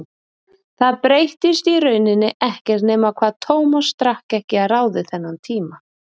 Það breyttist í rauninni ekkert nema hvað Tómas drakk ekki að ráði þennan tíma.